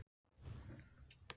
Það fóru ónot um mig.